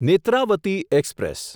Netravati express